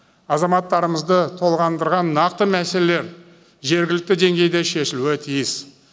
азаматтарымызды толғандырған нақты мәселелер жергілікті деңгейде шешілуі тиіс